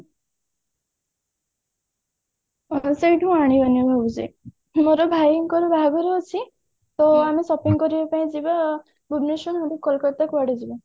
ଆରେ ସେଇଠୁ ଆଣିବିନି ଭାବୁଛି ମୋର ଭାଇଙ୍କର ବାହାଘର ଅଛି ତ ଆମେ shopping କରିବା ପାଇଁ ଯିବା ଆଉ ଭୁବନେଶ୍ବର ନହେଲେ କୋଲକତା କୁଆଡେ ଯିବା